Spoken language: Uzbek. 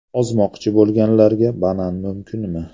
Ozmoqchi bo‘lganlarga banan mumkinmi?.